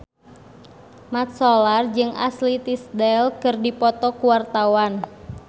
Mat Solar jeung Ashley Tisdale keur dipoto ku wartawan